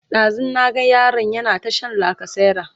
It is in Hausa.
ɗazun na ga yaron yana ta Shan lacasera